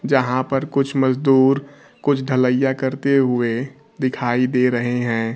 जहां पर कुछ मजदूर कुछ ढल्लाइया करते हुए दिखाई दे रहे है।